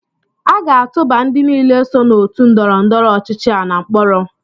A ga-atụba ndị niile so na otu ndọrọndọrọ ọchịchị a na mkpọrọ